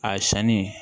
A sanni